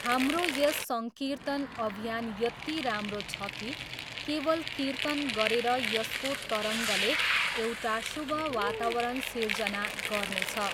हाम्रो यस सङ्कीर्तन अभियान यति राम्रो छ कि केवल कीर्तन गरेर यसको तरङ्गले एउटा शुभ वातावरण सिर्जना गर्नेछ।